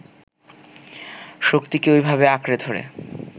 শক্তিকে ওইভাবে আঁকড়ে ধরে